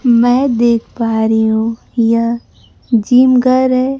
मैं देख पा री हूं यह जिम गर है।